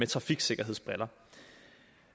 trafiksikkerhedsbriller